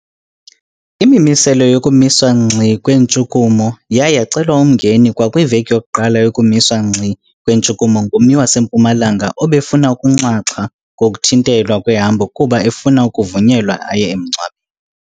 Imimiselo yokumiswa ngxi kweentshukumo yaye yacelwa umngeni kwakwiveki yokuqala yokumiswa ngxi kweentshukumo ngummi waseMpumalanga obefuna ukunxaxha kokuthintelwa kwehambo kuba efuna ukuvunyelwa aye emngcwa